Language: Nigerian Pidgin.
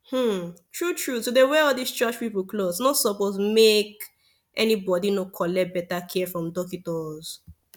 hmn tru tru to dey wear all these church pipu cloth nor suppos make any bodi nor collect beta care from dockitos